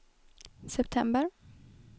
september